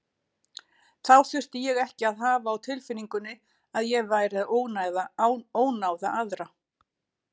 Þá þurfti ég ekki að hafa á tilfinningunni að ég væri að ónáða aðra.